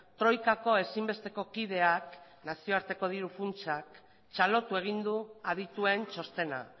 troikako ezinbesteko kideak nazioarteko diru funtsak txalotu egin du adituen txostena